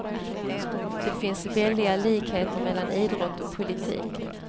Det finns väldiga likheter mellan idrott och politik.